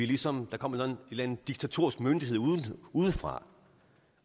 ligesom kommer en eller en diktatorisk myndighed udefra